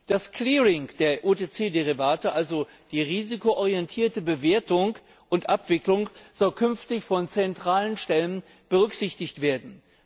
Das Clearing der OTC Derivate, also die risikoorientierte Bewertung und Abwicklung, soll künftig von zentralen Stellen berücksichtigt werden.